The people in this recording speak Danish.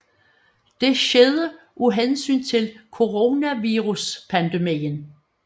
Det skete af hensyn til coronaviruspandemien